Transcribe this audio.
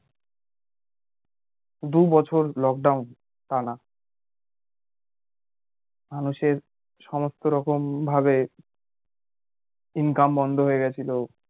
দু বছর lockdown টানা মানুষের সমস্ত রকম ভাবে income বন্ধ হয়ে গেছিলো